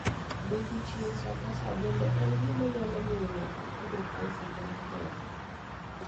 Bet ichieng' saa ka saa bende en gima nyalo miyo ng'ato tudo cancer mar thok